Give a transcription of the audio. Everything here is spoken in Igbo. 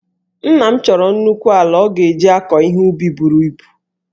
Nna m chọrọ nnukwu ala ọ ga-eji akọ ihe ubi buru ibu